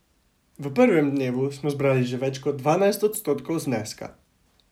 V prvem dnevu smo zbrali že več kot dvanajst odstotkov zneska.